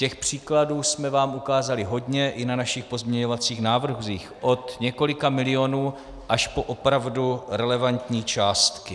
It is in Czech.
Těch příkladů jsme vám ukázali hodně i na našich pozměňovacích návrzích, od několika milionů až po opravdu relevantní částky.